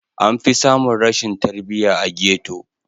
Anfi samun rashin tarbiya a ghetto.